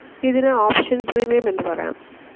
ഇതിന് option premium എന്നു പറയാം.